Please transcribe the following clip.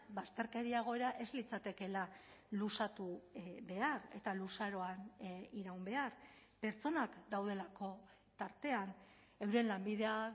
bazterkeria egoera ez litzatekeela luzatu behar eta luzaroan iraun behar pertsonak daudelako tartean euren lanbidea